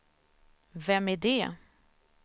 vem är det